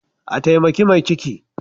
A taimaki mai ciki.